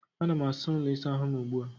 Ana m asa ụlọ ịsa ahụ m ugbu a